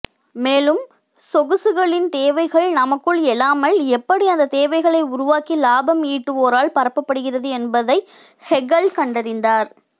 மேலும் சொகுசுகளின் தேவைகள் நமக்குள் எழாமல் எப்படி அந்த தேவைகளை உருவாக்கி லாபம் ஈட்டுவோரால் பரப்பப்படுகிறது என்பதை ஹெகல் கண்டறிந்தார்